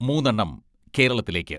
മൂന്നെണ്ണം കേരളത്തിലേയ്ക്ക്.